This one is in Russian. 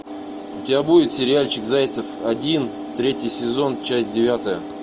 у тебя будет сериальчик зайцев один третий сезон часть девятая